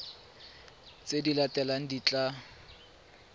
tse di latelang di tla